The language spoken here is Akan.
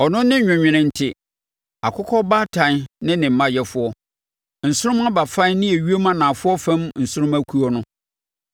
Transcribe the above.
Ɔno ne Nwenwenente, Akokɔbaatan ne ne mma Yɛfoɔ; Nsorommabafan ne ewiem anafoɔ fam nsorommakuo no.